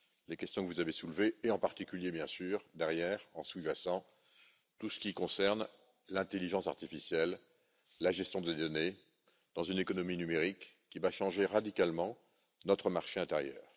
les questions que vous avez soulevées, et en particulier, bien sûr, derrière, en sous jacent, tout ce qui concerne l'intelligence artificielle, la gestion des données dans une économie numérique qui va changer radicalement notre marché intérieur.